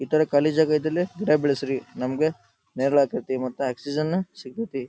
ಈ ತರ ಖಾಲಿ ಜಾಗ ಇದ್ದಲ್ಲಿ ಗಿಡ ಬೆಳೆಸರಿ ನಮಗೆ ನೆರಲ್ ಆಗತೈತಿ ಮತ್ತೆ ಆಕ್ಸಿಜನ್ ಸಿಗುತ್ತೆ.